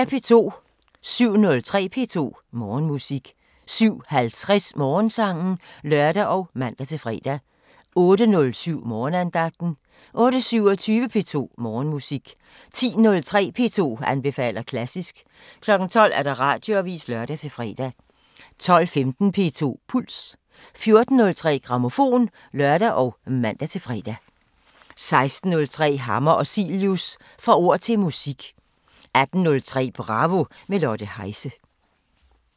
07:03: P2 Morgenmusik 07:50: Morgensangen (lør og man-fre) 08:07: Morgenandagten 08:27: P2 Morgenmusik 10:03: P2 anbefaler klassisk 12:00: Radioavisen (lør-fre) 12:15: P2 Puls 14:03: Grammofon (lør og man-fre) 16:03: Hammer og Cilius – Fra ord til musik 18:03: Bravo – med Lotte Heise